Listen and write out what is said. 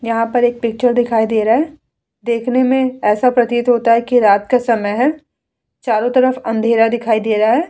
यहाँ पर एक पिक्चर दिखाई दे रहा है देखने में ऐसा प्रतीत होता है कि रात का समय है चारो तरफ अंधेरा दिखाई दे रहा है ।